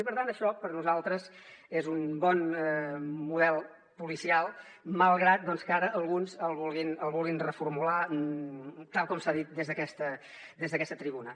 i per tant això per nosaltres és un bon model policial malgrat doncs que ara alguns el vulguin reformular tal com s’ha dit des d’aquesta tribuna